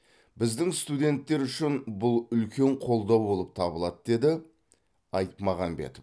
біздің студенттер үшін бұл үлкен қолдау болып табылады деді айтмағамбетов